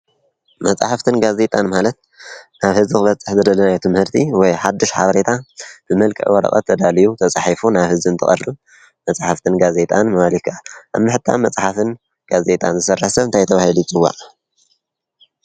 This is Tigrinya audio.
መፅሓፍትን ጋዜጣን ማለት ናብ ህዝቢ ክበፅሕ ዝተደለየ ትህምርቲ ወይ ሓበሬታ ብመልክዕ ወረቀት ተዳልዩ ተፃሒፉን ናብ ህዝቢ እንተቀርብ መፅሓፍትን ጋዜጣን ምባል ይካኣል። ኣብ ምሕታም መፅሓፍን ጋዜጣን ዝሰርሕ ሰብ እንታይ ተባሂሉ ይፅዋዕ?